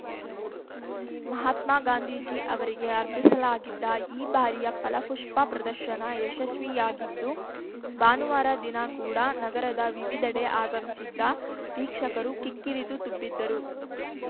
ಮಹಾತ್ಮ ಗಾಂಧೀಜಿ ಅವರಿಗೆ ಅರ್ಪಿಸಲಾಗಿದ್ದ ಈ ಬಾರಿಯ ಫಲಪುಷ್ಪ ಪ್ರದರ್ಶನ ಯಶಸ್ವಿಯಾಗಿದ್ದು ಭಾನುವಾರ ದಿನ ಕೂಡ ನಗರದ ವಿವಿಧೆಡೆ ಆಗಮಿಸಿದ್ದ ವೀಕ್ಷಕರು ಕಿಕ್ಕಿರಿದು ತುಂಬಿದ್ದರು